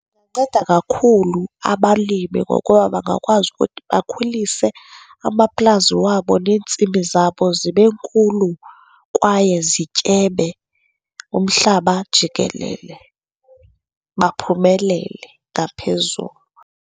Inceda kakhulu abalimi ngokuba bangakwazi ukuthi bakhulise amaplazi wabo neentsimi zabo zibe nkulu kwaye zityebe umhlaba jikelele, baphumelele ngaphezulu.